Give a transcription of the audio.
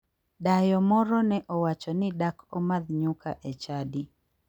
Dayo moro ne owacho ni dak omadh nyuka e chadi.